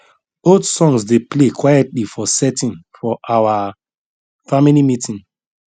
old songs dey play quietly for setting for our family meeting